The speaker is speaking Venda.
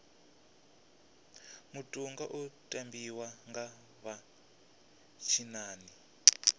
mutoga u tambiwa nga vha tshinnani